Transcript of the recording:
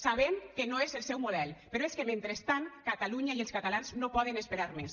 sabem que no és el seu model però és que mentrestant catalunya i els catalans no poden esperar més